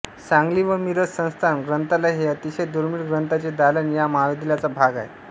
सांगली व मिरज संस्थान ग्रंथालय हे अतिशय दुर्मिळ ग्रंथांचे दालन या महाविद्यालयाचा भाग आहे